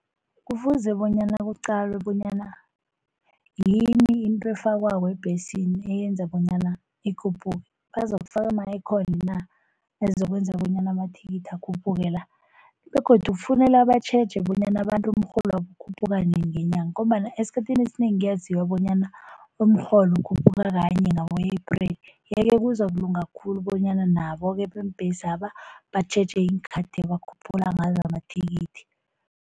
Kufuze bonyana kuqalwe bonyana yini into efakwako ebhesini eyenza bonyana ikhuphuke. Bazokufaka ama-ekhoni na? Azokwenza bonyana amathikithi akhuphuke-la. Begodu kufuneka batjheje bonyana abantu umrholo wabo ukhuphuka nini ngenyanga, ngombana esikhathini esinengi kuyaziwa bonyana umrholo ukhuphuka kanye ngabo-April. Yeke kuzokulunga khulu bonyana nabo-ke beembhesi laba batjheje iinkhathi abakhuphula ngazo amathikithi.